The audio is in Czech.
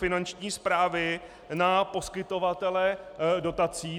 Finanční správy na poskytovatele dotací.